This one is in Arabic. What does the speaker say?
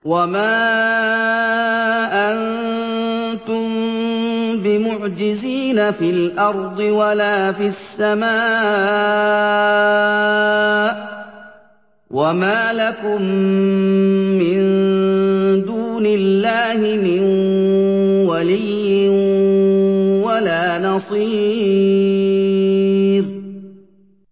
وَمَا أَنتُم بِمُعْجِزِينَ فِي الْأَرْضِ وَلَا فِي السَّمَاءِ ۖ وَمَا لَكُم مِّن دُونِ اللَّهِ مِن وَلِيٍّ وَلَا نَصِيرٍ